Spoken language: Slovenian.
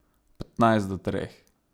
Petnajst do treh.